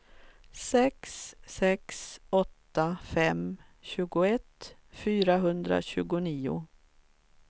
sex sex åtta fem tjugoett fyrahundratjugonio